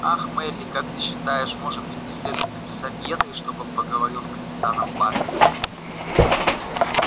ах мелли как ты считаешь может быть мне следует написать генри чтобы он поговорил с капитаном батлером